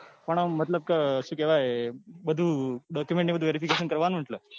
પણ આમ મતલબ કે શું કેવાય બધું કરવાનું ને એટલે.